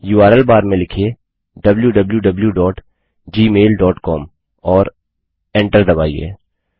URL bar में लिखिए wwwgmailcom और Enter दबाइए